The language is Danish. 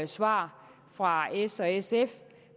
svar fra s og sf